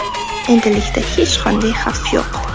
Endilikda hech qanday xavf yo‘q.